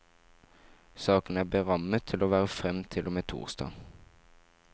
Saken er berammet til å vare frem til og med torsdag.